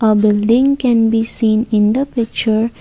a building can be seen in the picture.